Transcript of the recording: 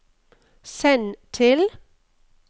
send til